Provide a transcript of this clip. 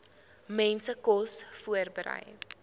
mense kos voorberei